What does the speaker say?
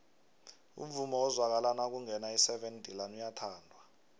umvumo ozwakala nakungena iseven delaan uyathandwa